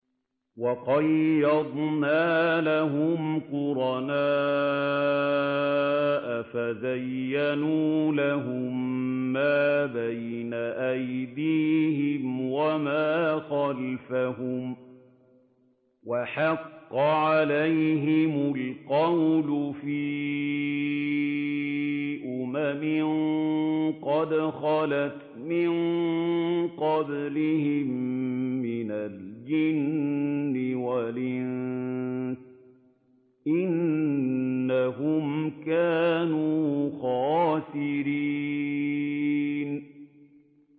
۞ وَقَيَّضْنَا لَهُمْ قُرَنَاءَ فَزَيَّنُوا لَهُم مَّا بَيْنَ أَيْدِيهِمْ وَمَا خَلْفَهُمْ وَحَقَّ عَلَيْهِمُ الْقَوْلُ فِي أُمَمٍ قَدْ خَلَتْ مِن قَبْلِهِم مِّنَ الْجِنِّ وَالْإِنسِ ۖ إِنَّهُمْ كَانُوا خَاسِرِينَ